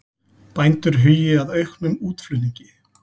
Bændur hugi að auknum útflutningi